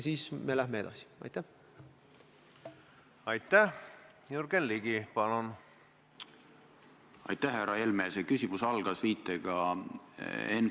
See on umbes sama seos, et ta on nõus vabandama siis, kui homme hommikul on temperatuur alla +5 kraadi.